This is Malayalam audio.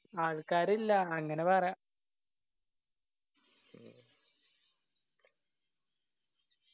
ആൾക്കാരില്ല അങ്ങനെ പറയാ